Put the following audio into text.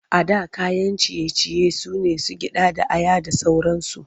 A da kayan ciye-ciye su ne su gyaɗa da aya da sauransu.